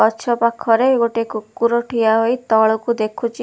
ଗଛ ପାଖରେ ଗୋଟିଏ କୁକୁର ଠିଆ ହୋଇ ତଳକୁ ଦେଖୁଛି।